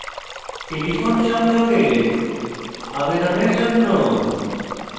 telephone সংযোগের আবেদনের জন্য